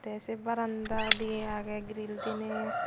te se baranda diye agey grill diney.